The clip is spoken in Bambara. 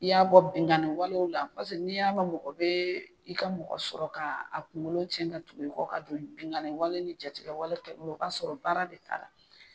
I y'a bɔ binganni walew la n'i y'a mɛn mɔgɔ bɛ i ka mɔgɔ sɔrɔ ka a kunkolo cɛn ka tugu i kɔ ka don binganni wale ni jatigɛwale kɛ o ka sɔrɔ baara de t'a la